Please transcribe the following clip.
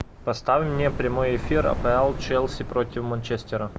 поставь мне прямой эфир апл челси против манчестера